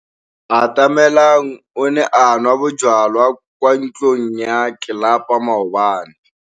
Atamelang o ne a nwa bojwala kwa ntlong ya tlelapa maobane.